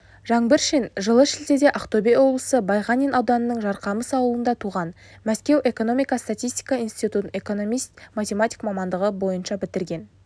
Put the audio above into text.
жаңбыршин жылы шілдеде ақтөбе облысы байғанин ауданының жарқамыс ауылында туған мәскеу экономика-статистика институтын экономист-математик мамандығы бойыншабітірген